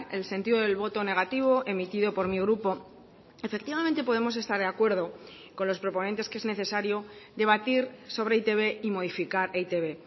el sentido del voto negativo emitido por mi grupo efectivamente podemos estar de acuerdo con los proponentes que es necesario debatir sobre e i te be y modificar e i te be